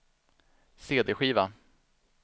cd-skiva